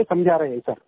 ये समझा रहे हैं सर